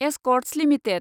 Escorts limited